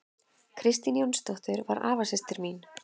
Kristín Jónsdóttir var afasystir mín.